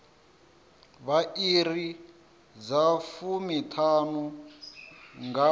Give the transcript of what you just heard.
vha iri dza fumiṱhanu nga